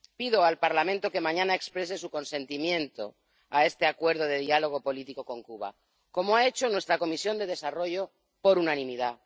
Pido al Parlamento que mañana conceda su aprobación a este Acuerdo de diálogo político con Cuba, como ha hecho nuestra Comisión de Desarrollo, por unanimidad